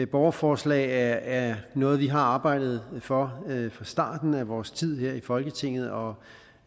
borgerforslag er noget vi har arbejdet for fra starten af vores tid her i folketinget og